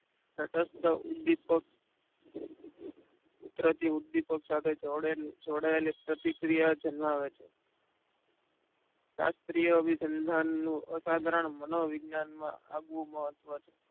તટસ્થ ઉદીપક ઉતરાથી ઉદીપક જોડેલ જોડાયેલી પ્રતિક્રિયા જન્માવે છે શાસ્ત્રીય અભીસંધાન નું અસાધારણ મનોવિજ્ઞાન માં આગવું મહત્વ છે